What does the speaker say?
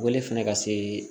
Wele fɛnɛ ka se